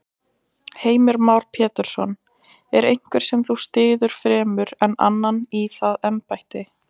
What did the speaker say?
Heimir Már Pétursson: Er einhver sem þú styður fremur en annan í það embætti?